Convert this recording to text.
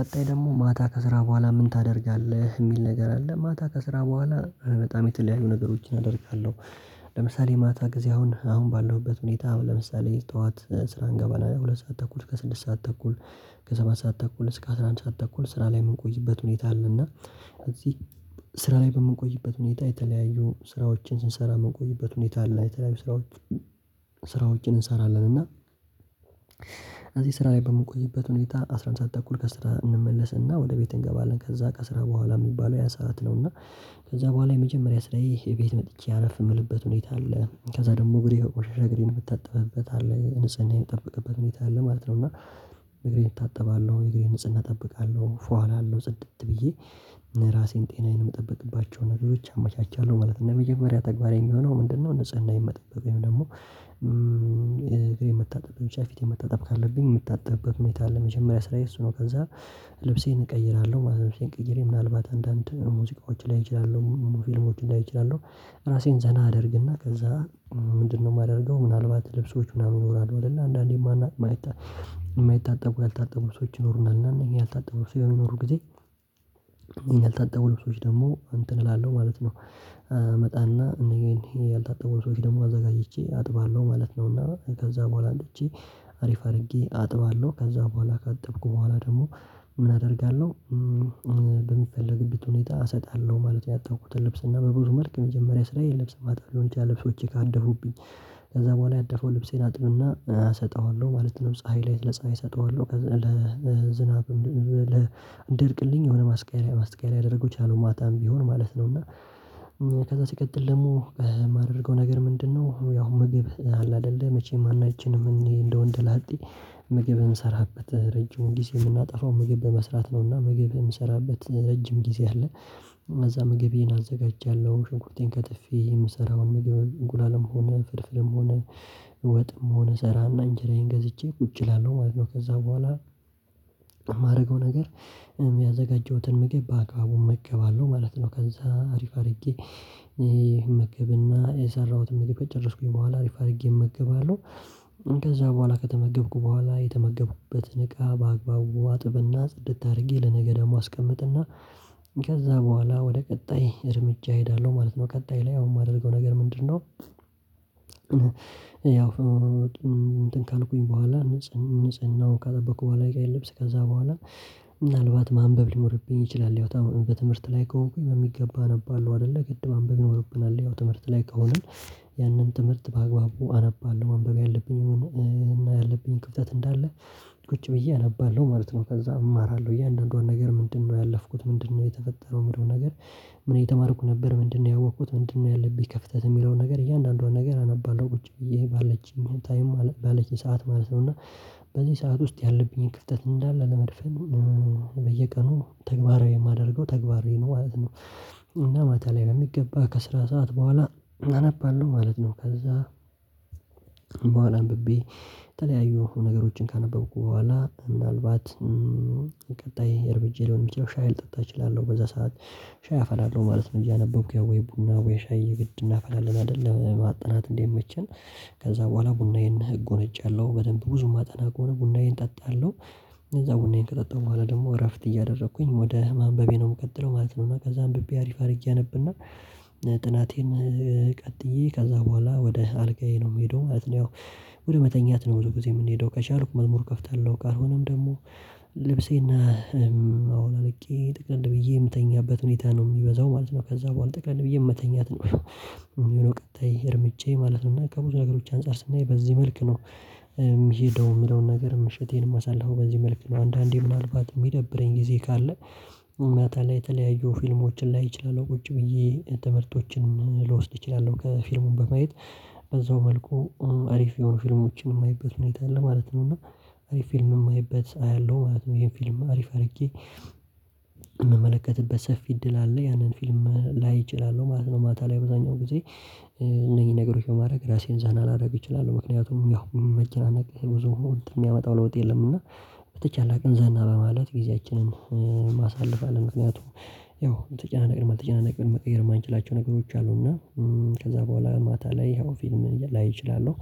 ቀጣይ ደግሞ ማታ ከስራ ቦኋላ ምን ታደርጋለህ? የሚል ነገር አለ ማታ ከስራ ቦኋላ በጣም የተለያዩ ነገሮችን አደርጋለሁ። ለምሳሌ ማታ ጊዜ አሁን አሁን ባለሁበት ሁኔታ ለምሳሌ ጡዋት ስራ እንገባና ሁለት ሰዓት ተኩል እስከ ስድስት ሰዓት ተኩል ከሰባት ሰዓት ተኩል እስከ አስራ አንድ ሰዓት ተኩል ስራ ላይ የምንቆይበት ሁኔታ አለ እና እዚህ ስራ ላይ በምንቆይበት ሁኔታ የተለያዩ ስራዎችን ስንሰራ የምንቆይበት ሁኔታ አለ የተለያዩ ስራዎች ስራዎችን እንሰራለን እና እዚህ ስራ ላይ በምንቆይበት ሁኔታ አስራ አንድ ሰዓት ተኩል ከስራ እንመለስና ወደ ቤት እንገባለን ከዛ ከስራ ቦኋላ የሚባለው ያ ሰዓት ነው እና ከዛ ቦኋላ የመጀመሪያ ስራዬ የቤት መጥቼ አረፍ የምልበት ሁኔታ አለ ከዛ ደግሞ ግሬ መሸሸ ግሬን ብታጠብበት አለ ንጽህና የምትጠብቀበት ሁኔታ አለ ማለት ነው እና እግሬን እጣጥባለሁ እግሬን ንጽህና እጠብቃለሁ ፏ አላለው ጽድት ብዬ ራሴን ጤናዬን የምጠብቅባቸው ነገሮች አመቻቻለሁ ማለት ነው። መጀመሪያ ተግባራዊ የሚሆነው ምንድነው ንጽህናዬን መጠበቅ ወይም ደግሞ እግሬን የምታጠብበት ብቻ ፊቴን መታጠብ ካለብኝ የምታጠብበት ሁኔታ ለመጀመሪያ ስራዬ እሱ ነው ከዛ ልብሴን እቀይራለሁ ልብሴን ቀይሬ ምናልባት አንዳንድ ሙዚቃዎች ላይ እችላለሁ ፊልሞች ላይ እችላለሁ ራሴን ዘና አደርግና ከዛ ምንድነው የማደርገው ምናልባት ልብሶች ምናምን ይኖራሉ አይደለ አንዳንዴ ማን ማየት የማይታጠቡ ያልታጠቡ ልብሶች ይኖሩናል እና እኛ ያልታጠቡ ልብስ የሚኖሩ ኖሮ ጊዜ ይሄን ያልታጠቡ ልብሶች ደግሞ እንትን እላለሁ ማለት ነው። እመጣና እንግዲህ ይሄ ያልታጠበው ልብሶች ደግሞ አዘጋጅቼ አጥባለሁ ማለት ነው እና ከዛ ቦኋላ አጥቼ አሪፍ አድርጌ አጥባለሁ ከዛ ቦኋላ ካጠብኩ ቦኋላ ደግሞ ምን አደርጋለሁ? ሁኔታ እሰጣለሁ ማለት ነው ያጠብኩትን ልብስ እና በብዙ መልክ የመጀመሪያ ስራዬን ለብስ ማጠብ ወንጌል ልብሶቼ ካደፉብኝ ከዛ ቦኋላ ያደፈው ልብሴን አጥብና እሰጠዋለሁ ማለት ነው ፀሀይ ላይ ለፀሀይ እሰጠዋለሁ ለዝናብ ለእንደርቅልኝ የሆነ ማስቅያ ማስቅያ ያደረጉት ያለው ማታም ቢሆን ማለት ነው እና ከዛ ሲቀጥል ደግሞ የማደርገው ነገር ምንድነው ያው ምግብ አለ አይደለ መቼም ሁላችንም እኔ እንደ ወንድ ላጤ ምግብ እንሰራበት ረጅም ጊዜ የምናጠፋው ምግብ በመስራት ነውና ምግብ የምሰራበት ረጅም ጊዜ አለ። እዛ ምግቤን አዘጋጃለሁ ሽንኩርቴን ከትፌ የምሰራውን ምግብ አንቁላልም ሆነ ፍርፍርም ሆነ ወጥም ሆነ አሰራና እንጀራዬን ገዝቼ ቁጭ እላለሁ ከዛ ቦኋላ የማደርገው ነገር የሚያዘጋጀሁትን ምግብ በአካባቡ እመገባለሁ ማለት ነው ከዛ አሪፍ አድርጌ ምግብና የሰራሁትን መግብ ጨረስኩኝ ቦኋላ አሪፍ አድርጌ እመገባለሁ ከዛ ቦኋላ ከተመገብኩ ቦኋላ የተመገብኩበትን እቃ በአግባቡ አጥብና ጽድት አድርጌ ለነገ ደግሞ አስቀምጥና ከዛ ቦኋላ ወደ ቀጣይ እርምጃ እሄዳለሁ ማለት ነው ቀጣይ ላይ አሁን የማደርገው ነገር ምንድነው? ያው እንትን ካልኩኝ ቦኋላ ንጽህናው ካጠበኩ ቦኋላ ጋር ይለብስ ከዛ በኋላ ምናልባት ማንበብ ሊሞርብኝ ይችላል ሊያወጣ በትምህርት ላይ ከሆንኩኝ በሚገባ ነበር አለው አይደለ ቅድም አንብቤ ነው የምለውብናል ያው ትምህርት ላይ ከሆንን ያንን ትምህርት በአግባቡ አነባለሁ ማንበብ ያለብኝና ያለብኝ ክፍተት እንዳለ ቁጭ ብዬ አነባለሁ ማለት ነው። ከዛ እማራለሁ እያንዳንዱን ነገር ምንድነው ያለፍኩት ምንድነው የተፈጠረው ምንድነው ነገር ምን እየተማርኩ ነበር ምንድነው ያወቅኩት ምንድነው ያለብኝ ከፍተት የሚለውን ነገር እያንዳንዷን ነገር አነባለሁ ቁጭ ብዬ ባለችኝ ታይም ባለችኝ ሰዓት ማለት ነው እና በዚህ ሰዓት ውስጥ ያለብኝን ክፍተት እንዳለ ለመድፈን በየቀኑ ተግባራዊ የማደርገው ተግባራዊ ማለት ነው እና ማታ ላይ የሚገባ ከስራ ሰዓት ቦኋላ አነባለሁ ማለት ነው። ከዛ ቦኋላ አንብቤ የተለያዩ ነገሮችን ካነበብኩ ቦኋላ ምናልባት ቀጣይ እርምጃዬ ሊሆን የሚችለው ሻይ ልጠጣ እችላለሁ በዛ ሰዓት ሻይ አፈላለሁ ማለት ነው እያነበብኩ ያው ወይ ቡና ወይ ሻይ የግድ እናፈላለን አይደለም ማጠናት እንዲመቸን ከዛ ቦኋላ ቡናዬ ህግ አጎነጫለሁ በደንብ ብዙ ሚጠና ከሆነ ቡናዬን ጠጣለሁ። ከዛ ቡናዬን ከጠጣሁ ቦኋላ ደግሞ እረፍት እያደረኩኝ ወደ ማንበቤ ነው የምቀጥለው ማለት ነው እና ከዛ አንብቤ አሪፍ አድርጌ አነብና ጥናቴን ቀጥዬ ከዛ ቦኋላ ወደ አልጋዬ ነው የምሄደው ማለትነው ወደ መተኛት ነው ጊዜ የምንሄደው ከቻልኩ መዝሙር ከፍታለሁ ካልሆነም ደግሞ ልብሴና አውልቄ ጥቅል ብዬ የምተኛበት ሁኔታ ነው የሚበዛው ማለት ነው ከዛ ቦኋላ ጠቅለል ብዬ የምተኛት ነው የሚለው ቀጣይ እርምጃዬ ማለት ነው ከብዙ ነገሮች አንፃር ስናይ በዚህ መልክ ነው። የምሄደው የምለውን ነገር ምሽቴን የማሳልፈው በዚህ መልኩ ነው አንዳንዴ ምናልባት የሚደብረኝ ጊዜ ካለ ማታ ላይ የተለያዩ ፊልሞችን ላይ አችላለው ቁጭ ብዬ ትምህርቶችን ልወስድ እችላለሁ ከፊልሙ በማየት በዛው መልኩ አሪፍ የሆኑ ፊልሞችን የማየበት ሁኔታ አለ ማለት ነው እና አሪፍ ፊልም የማየበት አያለሁ ማለት ነው ይሄን ፊልም አሪፍ አድርጌ የምመለከትበት ሰፊ እድል አለ ያንን ፊልም ላይ እችላለሁ ማለት ነው። ማታ ላይ አብዛኛው ጊዜ እነዚህ ነገሮች በማድረግ ራሴን ዘና ላደርግ እችላለሁ ምክንያቱም ያው መጨናነቅ ብዙ የሚያመጣው ለውጥ የለም እና በተቻለ ቅንዘና በማለት ጊዜያችንን አሳልፋለሁ ምክንያቱም ያው ተጨናነቅን መጨናነቅን መቀየር የማንችላቸው ነገሮች አሉና ከዛ ቦኋላ ማታ ላይ ይሄው ፊልም ላይ እችላለሁ